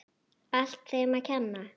Allt þeim að kenna.!